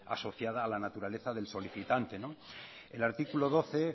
asociada a la naturaleza del solicitante el artículo doce